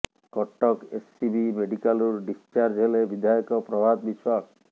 Cuttack SCB ମେଡିକାଲରୁ discharge ହେଲେ ବିଧାୟକ ପ୍ରଭାତ ବିଶ୍ୱାଳ